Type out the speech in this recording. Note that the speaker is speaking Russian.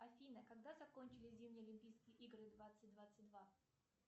афина когда закончились зимние олимпийские игры двадцать двадцать два